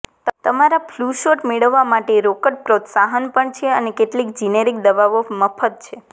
તમારા flu shot મેળવવા માટે રોકડ પ્રોત્સાહન પણ છે અને કેટલીક જિનેરિક દવાઓ મફત છે